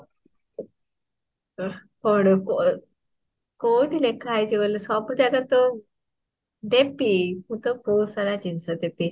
ଆଃ କଣ କ, କୌଠୁଇ ଲେଖା ହେଇଚି ସବୁ ଜାଗାରେ ତ, ଦେବୀ ମୁଁ ତାକୁ ବହିଟି ସାରା ଜିନ୍ସ ଦେବୀ